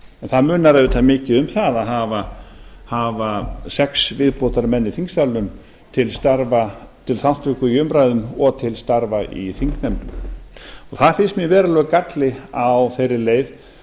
það munar auðvitað mikið um það að hafa sex viðbótarmenn í þingsalnum til starfa til þátttöku í umræðum og til starfa í þingnefndum það finnst mér verulegur galli á þeirri leið